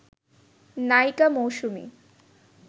নায়িকা মৌসুমী